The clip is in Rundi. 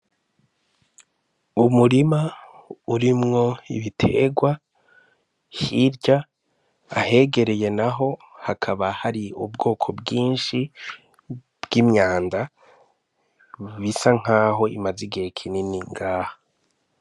Umurima urimwo ibiterwa hirya, Ahegereye naho hakaba hari ubwoko bwishi bw'imyanda bisa nkaho imaze igihe kinini ngaha.